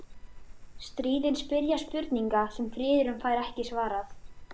Stríðin spyrja spurninga sem friðurinn fær ekki svarað.